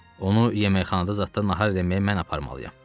Onu yeməkxanada zad nahar eləməyə mən aparmalıyam.